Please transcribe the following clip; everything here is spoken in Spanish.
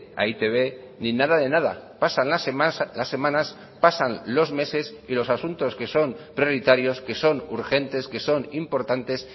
a e i te be ni nada de nada pasan las semanas pasan los meses y los asuntos que son prioritarios que son urgentes que son importantes